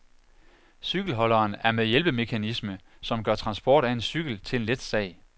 Cykelholderen er med hjælpemekanisme, som gør transport af en cykel til en let sag.